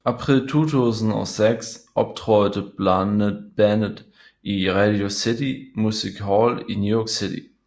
April 2006 optrådte bandet i Radio City Music Hall i New York City